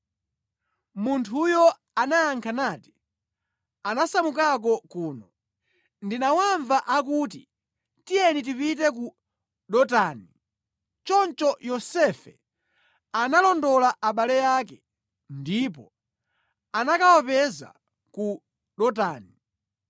Munthuyo anayankha nati, “Anasamukako kuno. Ndinawamva akuti, ‘Tiyeni tipite ku Dotani.’ ” Choncho Yosefe analondola abale ake ndipo anakawapeza ku Dotani.